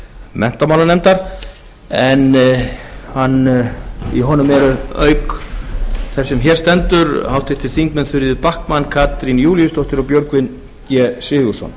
menntamálanefndar en í honum eru auk þess sem hér stendur háttvirtir þingmenn þuríður backman katrín júlíusdóttir og björgvin g sigurðsson